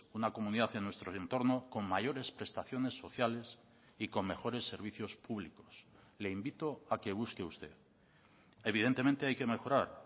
una comunidad en nuestro entorno con mayores prestaciones sociales y con mejores servicios públicos le invito a que busque usted evidentemente hay que mejorar